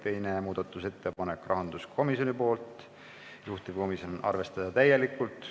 Teine muudatusettepanek on rahanduskomisjonilt, juhtivkomisjon: arvestada täielikult.